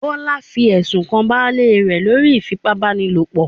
Bọ́lá ló fi ẹ̀sùn kan baálé rẹ̀ lórí ìfipá-báni-lòpọ̀